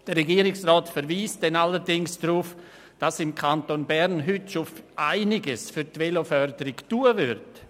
Der Regierungsrat verweist dann allerdings darauf, dass im Kanton Bern heute schon einiges für die Veloförderung getan wird.